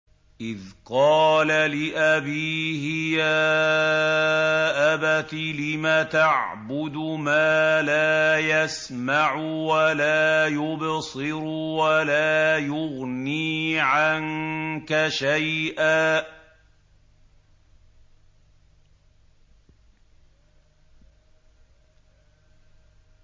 إِذْ قَالَ لِأَبِيهِ يَا أَبَتِ لِمَ تَعْبُدُ مَا لَا يَسْمَعُ وَلَا يُبْصِرُ وَلَا يُغْنِي عَنكَ شَيْئًا